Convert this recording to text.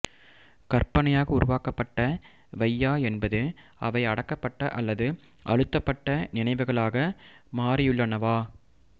கற்பனையாக உருவாக்கப்பட்டவையா என்பது அவை அடக்கப்பட்ட அல்லது அழுத்தப்பட்ட நினைவுகளாக மாறியுள்ளனவா